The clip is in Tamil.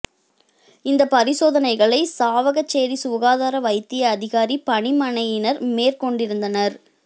இந்த பரிசோதனைகளை சாவகச்சேரி சுகாதார வைத்திய அதிகாரி பணிமனையினர் மேற்கொண்டிருந்தனர்